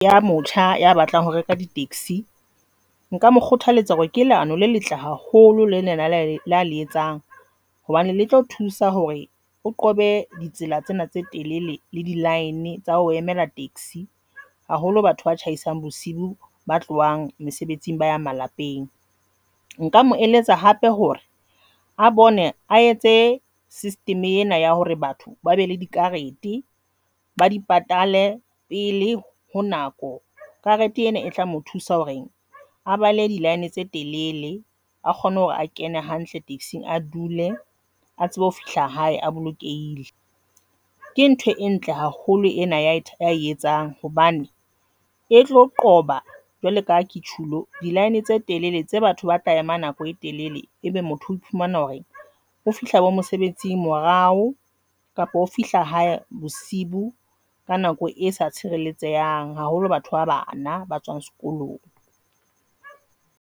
Ya motjha ya batlang ho reka di-taxi nka mo kgothaletsa hore ke leano le letle haholo le lena la le etsang, hobane le tlo thusa hore o qobe ditsela tsena tse telele le di-line tsa ho emela taxi. Haholo batho ba tjhaisang bosiu ba tlohang mesebetsing ba ya malapeng. Nka mo eletsa hape hore a bone a etse system ena ya hore batho ba be le dikarete ba di patale pele ho nako. Karete ena e tla mo thusa hore a bala di-line tse telele a kgone hore a kene hantle, taxi a dule a tsebe ho fihla hae, a bolokehile. Ke ntho e ntle haholo ena ya etsang hobane e tlo qoba jwalo kaha ke tjhulo di-line tse telele tsa batho ba tla ema nako e telele, ebe motho o iphumana hore ho fihla bo mosebetsing morao kapa ho fihla hae bosiu boo ka nako e sa haholo. Batho ba bana ba tswang sekolong.